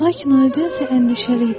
Lakin o elə isə əndişəli idi.